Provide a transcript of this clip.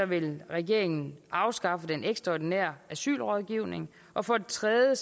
vil regeringen afskaffe den ekstraordinære asylrådgivning og for det tredje